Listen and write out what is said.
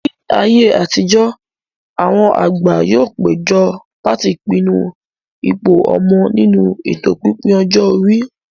Ní ayé àtijó, àwọn àgbà yóò péjọ láti pinnu ipò ọmọ nínú ètò pípín ọjọ́ orí